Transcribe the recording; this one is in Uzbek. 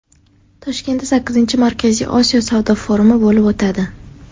Toshkentda sakkizinchi Markaziy Osiyo savdo forumi bo‘lib o‘tadi.